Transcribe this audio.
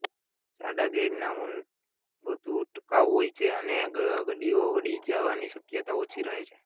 જાડા ગ્રેડના ઊન વધુ ટકાઉ હોય છે અને ગડીઓ વળી જવાની શક્યતા ઓછી રહે છે